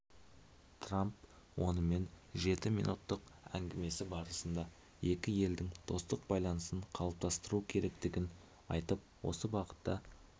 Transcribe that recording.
трамп онымен жеті минуттық әңгімесі барысында екі елдің достық байланысын қалыптастыру керектігін айтып осы бағытта